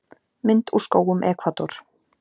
Mynd úr skógum Ekvador.